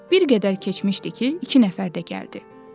Bir qədər keçmişdi ki, iki nəfər də gəldi.